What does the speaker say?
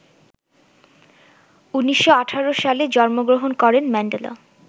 ১৯১৮ সালে জন্মগ্রহণ করেন ম্যান্ডেলা